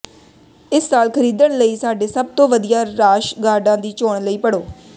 ਇਸ ਸਾਲ ਖਰੀਦਣ ਲਈ ਸਾਡੇ ਸਭ ਤੋਂ ਵਧੀਆ ਰਾਸ਼ ਗਾਰਡਾਂ ਦੀ ਚੋਣ ਲਈ ਪੜ੍ਹੋ